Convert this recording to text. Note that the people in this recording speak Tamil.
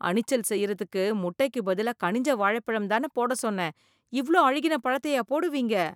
அணிச்சல் செய்றதுக்கு முட்டைக்கு பதிலா கனிஞ்ச வாழைப்பழம் தானே போட சொன்னேன், இவ்ளோ அழுகின பழத்தையா போடுவீங்க.